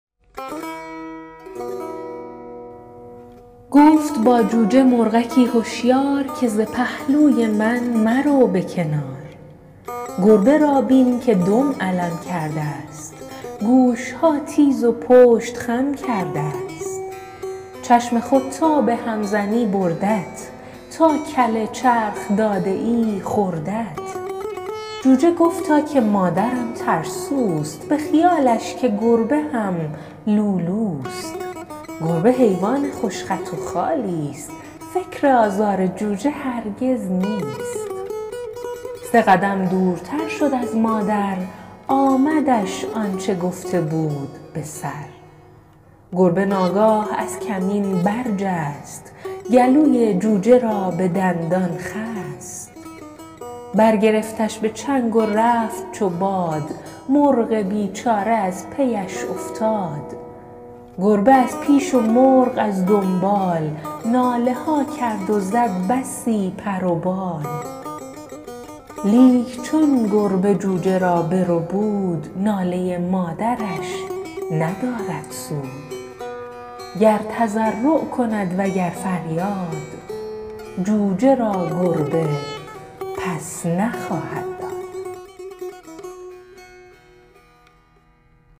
دوست گرامی آقای رضا سیمی این شعر را برای گنجور ارسال کرده اند که به گفته ایشان در کتابهای فارسی بچه ها چاپ شده بوده و بزرگترها از آن خاطره دارند و طبق نقل ایشان شاعر آن خانم اعتصامی است منتهی برای این انتساب هنوز مدرک معتبری پیدا نکرده ایم گفت با جوجه مرغکی هشیار که ز پهلوی من مرو به کنار گربه را بین که دم علم کرده گوشها تیز و پشت خم کرده چشم خود تا به هم زنی بردت تا کله چرخ داده ای خوردت جوجه گفتا که مادرم ترسوست به خیالش که گربه هم لولوست گربه حیوان خوش خط و خالیست فکر آزار جوجه هرگز نیست سه قدم دورتر شد از مادر آمدش آنچه گفته بود به سر گربه ناگاه از کمین برجست گلوی جوجه را به دندان خست برگرفتش به چنگ و رفت چو باد مرغ بیچاره از پی اش افتاد گربه از پیش و مرغ از دنبال ناله ها کرد زد بسی پر و بال لیک چون گربه جوجه را بربود ناله مادرش ندارد سود گر تضرع کند و گر فریاد جوجه را گربه پس نخواهد داد